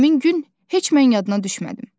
Həmin gün heç mən yadına düşmədim.